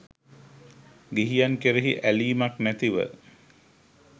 ගිහියන් කෙරෙහි ඇලීමක් නැතිව